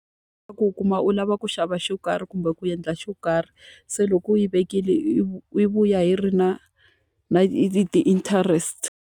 U u kuma u lava ku xava xo karhi kumbe ku endla xo karhi, se loko u yi vekile yi yi vuya hi ri na ni ti-interest.